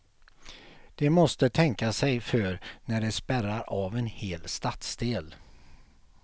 De måste tänka sig för när de spärrar av en hel stadsdel.